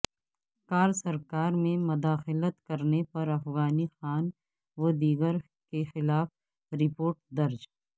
کار سرکار میں مداخلت کرنے پر افغانی خان و دیگر کیخلاف رپورٹ درج